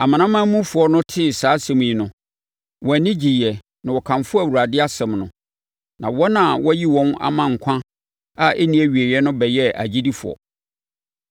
Amanamanmufoɔ no tee saa asɛm yi no, wɔn ani gyeeɛ na wɔkamfoo Awurade asɛm no, na wɔn a wɔayi wɔn ama nkwa a ɛnni awieeɛ no bɛyɛɛ agyidifoɔ.